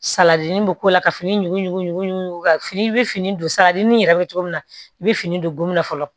Saladini bɛ k'o la ka fini ɲugu fini i be fini don salajinin yɛrɛ bɛ cogo min na i bɛ fini don gominna fɔlɔ